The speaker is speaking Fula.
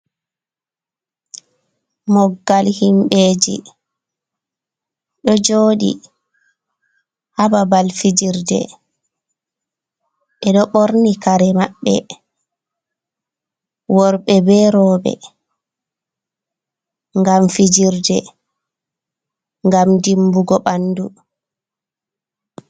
Moggal himɓeji ɗo joɗi ha babal fijirde, ɓeɗo ɓorni kare maɓɓe worɓe be roɓe ngam fijirde, ngam dimbugo ɓandu.